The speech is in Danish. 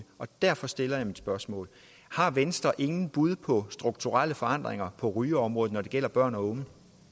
og derfor stiller jeg mit spørgsmål har venstre ingen bud på strukturelle forandringer på rygeområdet når det gælder børn og